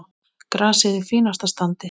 Grasið í fínasta standi.